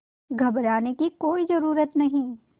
घबराने की कोई ज़रूरत नहीं